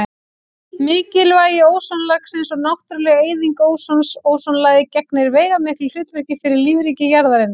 Mikilvægi ósonlagsins og náttúruleg eyðing ósons Ósonlagið gegnir veigamiklu hlutverki fyrir lífríki jarðarinnar.